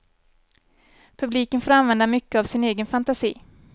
Publiken får använda mycket av sin egen fantasi.